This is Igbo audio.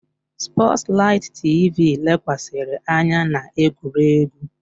Sports light TV lekwasịrị anya na egwuregwu.